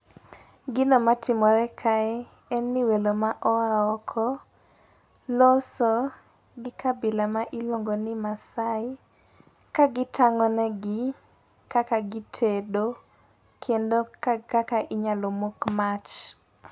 Gino matimore kae, en ni welo ma oa oko loso, gi kabila ma iluongoni maasai. Ka gitang'onegi kaka gitedo, kendo kaka inyalo mok mach.